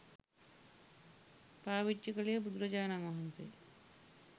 පාවිච්චි කළේ බුදුරජාණන් වහන්සේ